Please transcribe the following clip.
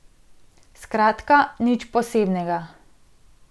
Skratka, nič posebnega.